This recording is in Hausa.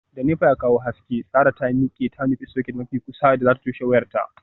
Da nepa ya kawo haske, sarah ta miqe ta nufi socket mafi kusa da zata toshe wayarta.